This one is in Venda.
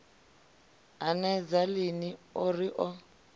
hanedza lini o ri o